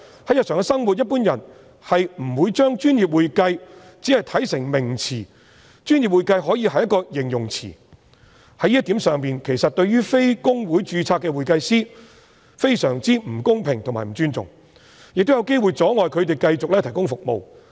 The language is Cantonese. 在日常生活中，一般人不會把"專業會計"看成一個名詞，"專業會計"可以是一個形容詞，在這一點上，其實對於非公會註冊的會計師非常不公平及不尊重，亦有機會阻礙他們繼續提供服務。